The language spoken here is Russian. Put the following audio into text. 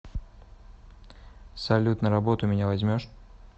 салют на работу меня возьмешь